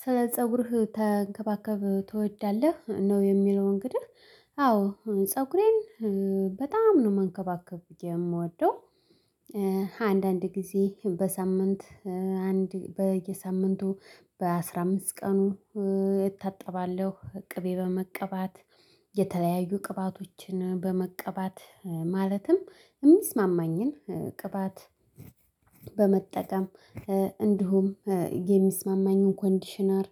ስለ ፀጉርህ ተንከባከብ ትወዳለህ ነው? የሚለው እንግዲህ አዎ ፀጉሬን በጣም ነው መንከባከብ የምወደው። አንዳንድ ጊዜ በሳምንት አንድ በየሳምንቱ በአስራ አምስት ቀኑ እታጠባለሁ ቅቤ በመቀባት የተለያዩ ቅባቶችን በመቀባት ማለትም የሚስማማኝን ቅባት በመጠቀም እንዲሁም የሚስማማኝን ኮንዲሽነር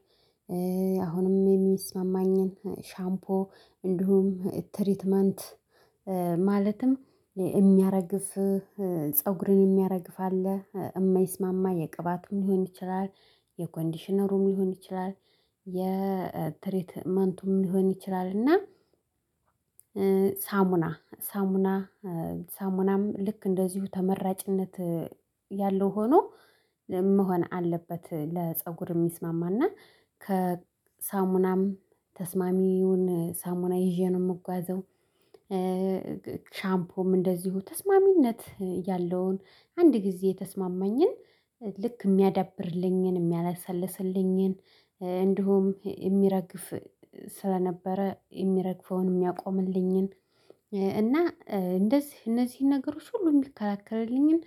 አሁንም የሚስማማኝን ሻምፖ እንዲሁም ትሪትመንት ማለትም የሚያረግፍ ፀጉርን የሚያረግፍ አለ የማይስማማ የቅባትም ሊሆን ይችላል የኮንዲሽነሩም ሊሆን ይችላል የትሪትመንቱም ሊሆን ይችላል። እና ሳሙና ሳሙና ሳሙናም ልክ እንደዚሁ ተመራጭነት ያለው ሆኖ መሆን አለበት ለፀጉር የሚስማማና ሳሙናም ተስማሚውን ሳሙና ይዤ ነው የምጓዘው። ሻምፖም እንደዚሁ ተስማሚነት ያለውን አንድ ጊዜ የተስማማኝን ልክ የሚያዳብርልኝን የሚያለሰልስልኝን እንዲሁም የሚረግፍ ስለነበረ የሚረግፈውን የሚያቆምልኝን እና እንደዚህ እነዚህን ነገሮች ሁሉ የሚከላከልልኝን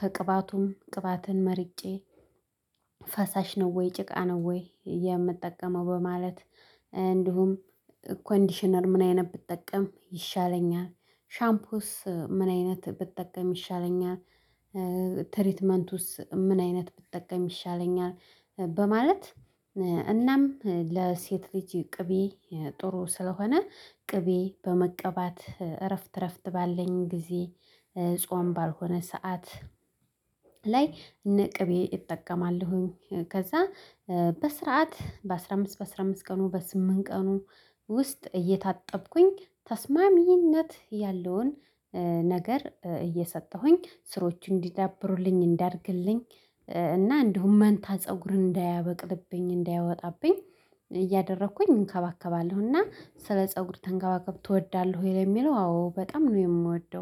ከቅባቱም ቅባትን መርጬ ፈሳሽ ነው? ወይ ጭቃ ነው? ወይ የምጠቀመው በማለት እንዲሁም ኮንዲሽነር ምን አይነት ብጠቀም ይሻለኛል? ሻምፖስ ምን አይነት ብትጠቀም ይሻለኛል? ትሪትመንቱስ ምን አይነት ብጠቀም ይሻለኛል? በማለት እናም ለሴት ልጅ ቅቤ ጥሩ ስለሆነ ቅቤ በመቀባት እረፍት እረፍት ባለኝ ጊዜ ጾም ባልሆነ ሰዓት ላይ እነ ቅቤ እጠቀማለሁኝ ከዛ በስርዓት በአስራ አምስት በአስራ አምስት ቀኑ በስምንት ቀኑ ውስጥ እየታጠብኩኝ ተስማሚነት ያለውን ነገር እየሰጠሁኝ ስሮቹ እንዲዳብሩልኝ እንዲያድግልኝ እና እንዲሁም መንታ ፀጉርን እንዳያበቅልብኝ እንዳያወጣብኝ እያደረግኩኝ እንከባከባለሁ። እና ስለ ፀጉር ተንከባከብ ትወዳለህ ወይ? ለሚለው አዎ በጣም ነው የምወደው።